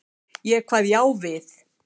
Ég kvað já við.